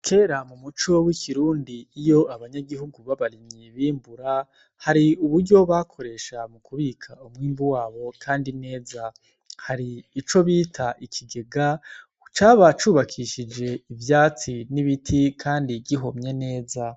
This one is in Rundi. Kera mumico y' ikirundi iyo abanyagihugu b'abarimyi bimbura hari uburyo bakoresha mukubika umwimbu wabo kandi neza, hari ico bita ikigega caba cubakishije ivyatsi kandi n' ibiti vyihomye neza.